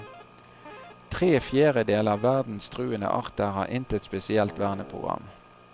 Tre fjerdedel av verdens truede arter har intet spesielt verneprogram.